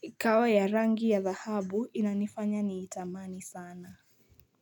ikawa ya rangi ya dhahabu inanifanya niitamani sana.